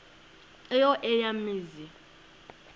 eyo eya mizi